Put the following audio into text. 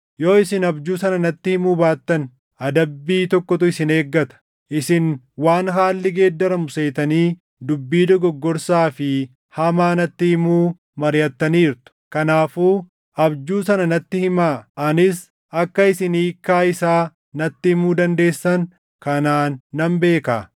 Yoo isin abjuu sana natti himuu baattan, adabbii tokkotu isin eeggata. Isin waan haalli geeddaramu seetanii dubbii dogoggorsaa fi hamaa natti himuu mariʼattaniirtu. Kanaafuu abjuu sana natti himaa; anis akka isin hiikkaa isaa natti himuu dandeessan kanaan nan beekaa.”